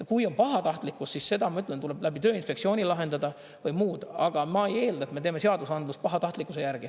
Kui on pahatahtlikkust, siis seda, ma ütlen, tuleb läbi Tööinspektsiooni lahendada, või muud, aga ma ei eelda, et me teeme seadusandlust pahatahtlikkuse järgi.